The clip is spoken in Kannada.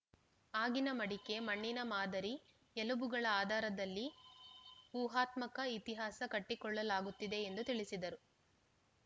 ಆಗಿನ ಮಡಿಕೆ ಮಣ್ಣಿನ ಮಾದರಿ ಎಲುಬುಗಳ ಆದಾರದಲ್ಲಿ ಊಹಾತ್ಮಕ ಇತಿಹಾಸ ಕಟ್ಟಿಕೊಡಲಾಗುತ್ತಿದೆ ಎಂದು ತಿಳಿಸಿದರು